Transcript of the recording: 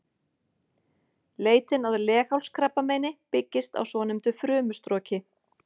Leitin að leghálskrabbameini byggist á svonefndu frumustroki.